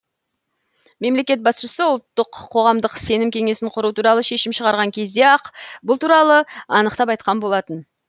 мемлекет басшысы ұлттық қоғамдық сенім кеңесін құру туралы шешім шығарған кезде ақ бұл туралы анықтап айтқан болатын